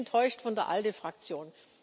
Ich bin enttäuscht von der ALDE Fraktion.